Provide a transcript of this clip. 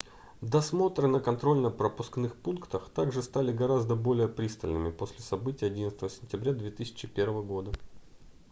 досмотры на контрольно-пропускных пунктах также стали гораздо более пристальными после событий 11 сентября 2001 года